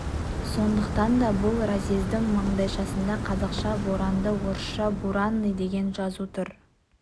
сондықтан да бұл разъездің маңдайшасында қазақша боранды орысша буранный деген жазу тұр